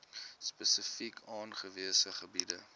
spesifiek aangewese gebiede